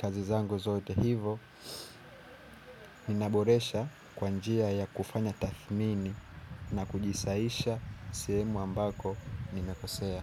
kazi zangu zote hivo. Nina boresha kwanjia ya kufanya tathmini na kujisaisha sehumu ambako nime kosea.